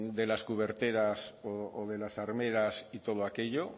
de las cuberteras o de las armeras y todo aquello o